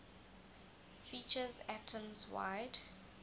features atoms wide